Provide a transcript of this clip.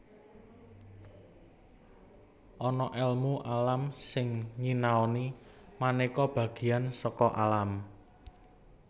Ana èlmu alam sing nyinaoni manéka bagéan saka alam